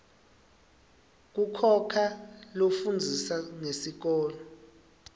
kukhoa lafundzisa ngesikolo